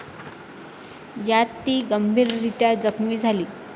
यात ती गंभीररीत्या जखमी झाली.